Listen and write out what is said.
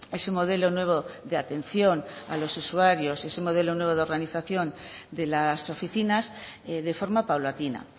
ese modelo nuevo de atención a los usuarios ese modelo nuevo de organización de las oficinas de forma paulatina